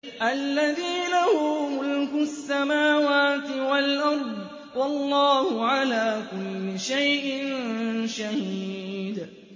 الَّذِي لَهُ مُلْكُ السَّمَاوَاتِ وَالْأَرْضِ ۚ وَاللَّهُ عَلَىٰ كُلِّ شَيْءٍ شَهِيدٌ